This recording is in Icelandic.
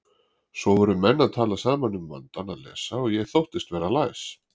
Svo voru menn að tala saman um vandann að lesa og ég þóttist vera læs.